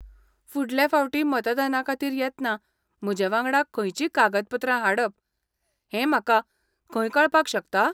फुडले फावटी मतदानाखातीर येतना म्हजेवांगडा खंयचीं कागदपत्रां हाडप हें म्हाका खंय कळपाक शकता?